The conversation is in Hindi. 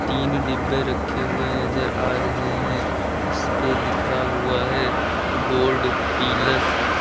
तीन डिब्बे रखे हुए नजर आ रहे हैं जिस पे लिखा हुआ है गोल्ड पीलस ।